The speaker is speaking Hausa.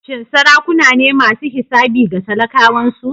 Shin sarakuna ne masu hisabi ga talakawansu?